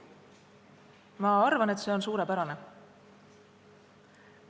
Ma arvan, et see on suurepärane.